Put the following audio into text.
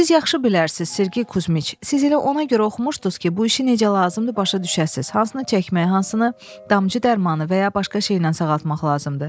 Siz yaxşı bilərsiniz, Sergi Kuzmiç, siz elə ona görə oxumuşdunuz ki, bu işi necə lazımdır, başa düşəsiz, hansını çəkmək, hansını damcı dərmanı və ya başqa şeylə sağaltmaq lazımdır.